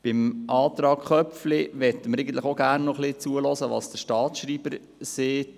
Was den Antrag Köpfli betrifft, möchten wir auch gerne noch hören, was der Staatsschreiber dazu sagt.